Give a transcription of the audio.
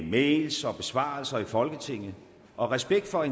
mails og besvarelser i folketinget og respekt for